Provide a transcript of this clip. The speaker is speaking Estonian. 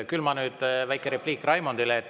Küll on nüüd väike repliik Raimondile …